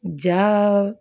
Ja